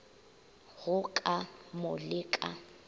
go ka mo le ka